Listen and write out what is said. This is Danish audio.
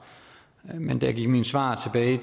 men da jeg gik mine svar tilbage